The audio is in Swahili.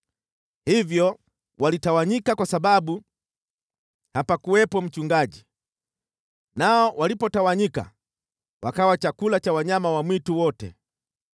Hivyo walitawanyika kwa sababu hapakuwepo mchungaji, nao walipotawanyika, wakawa chakula cha wanyama wa mwitu wote.